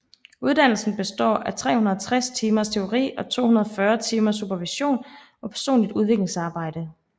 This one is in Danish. Uddannelsen består af 360 timers teori og 240 timers supervision og personligt udviklingsarbejde